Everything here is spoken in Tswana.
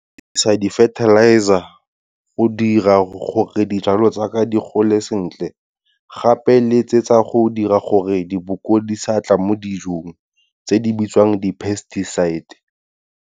Ke dirisa di-fertilizer go dira gore dijalo tsaka di gole sentle, gape le tse tsa go dira gore diboko di sa tla mo dijong, tse di bitswang di-pesticides.